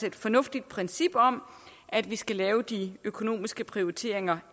et fornuftigt princip om at vi skal lave de økonomiske prioriteringer